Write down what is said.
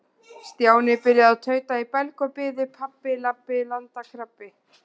Stjáni byrjaði að tauta í belg og biðu: Pabbi- labbi- landkrabbi.